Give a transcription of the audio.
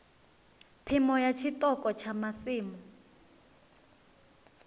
phimo ya tshiṱoko tsha masimu